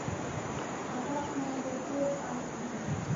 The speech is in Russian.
опасная гастроль аш ди